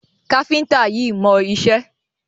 Káfíńńtà yíì mọ iṣẹ́.